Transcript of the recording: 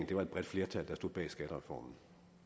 det var et bredt flertal bag skattereformen